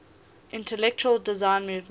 intelligent design movement